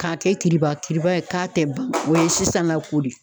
Ka kɛ kiribakiriba ye k'a te ban ,o ye sisan la ko de ye.